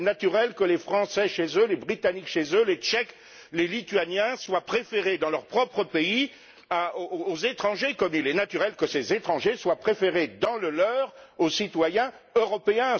Il est naturel que les Français chez eux, les Britanniques chez eux, les Tchèques, les Lituaniens soient préférés dans leurs propres pays aux étrangers, comme il est naturel que ces étrangers soient préférés dans le leur aux citoyens européens.